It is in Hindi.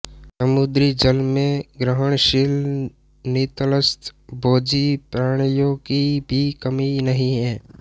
समुद्री जल में ग्रहणशील नितलस्थ भोजी प्राणियों की भी कमी नहीं हैं